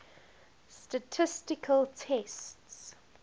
statistical tests